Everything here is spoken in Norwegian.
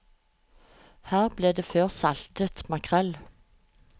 Her ble det før saltet makrell.